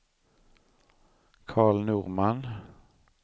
Karl Norman